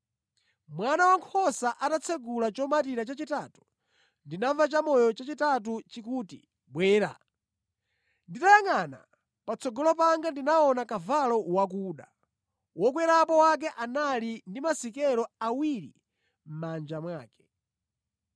Mwana Wankhosa atatsekula chomatira chachitatu, ndinamva chamoyo chachitatu chikuti, “Bwera!” Nditayangʼana patsogolo panga ndinaona kavalo wakuda! Wokwerapo wake anali ndi masikelo awiri mʼmanja mwake.